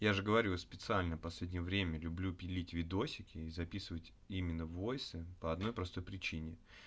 я же говорю я специально последнее время люблю пилить видосики и записывать именно войсы по одной простой причине